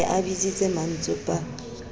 ne a bitsitse mmantsopa ie